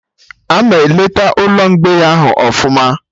Ama eleta Ụlọ mgbei ahụ ọfụma